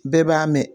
Bɛɛ b'a mɛn